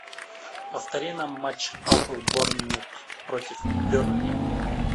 повтори нам матч апл борнмут против бернли